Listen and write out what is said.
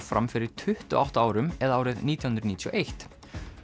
fram fyrir tuttugu og átta árum eða árið nítján hundruð níutíu og eitt